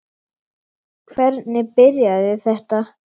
Hvernig byrjaði þetta?